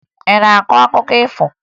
Ị na-akọ akụkọ ifo?